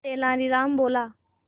तेनालीराम बोला